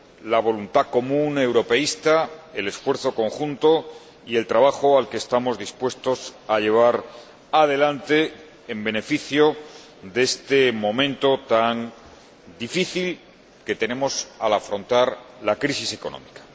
la voluntad común europeísta, el esfuerzo conjunto y el trabajo que estamos dispuestos a llevar adelante en beneficio de este momento tan difícil que vivimos al afrontar la crisis económica.